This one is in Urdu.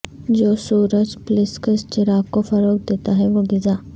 جو سورج پلسکس چراغ کو فروغ دیتا ہے وہ غذا